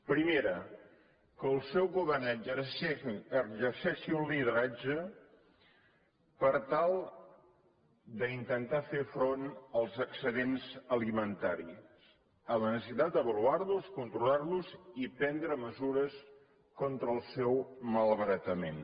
primera que el seu govern exerceixi un lideratge per tal d’intentar fer front als excedents alimentaris a la necessitat d’avaluar los controlar los i prendre mesures contra el seu malbaratament